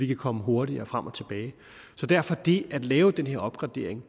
kan komme hurtigere frem og tilbage så derfor er det at lave den her opgradering